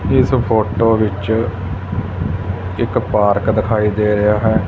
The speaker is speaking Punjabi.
ਇਸ ਫੋਟੋ ਵਿੱਚ ਇੱਕ ਪਾਰਕ ਦਿਖਾਈ ਦੇ ਰਿਹਾ ਹੈ।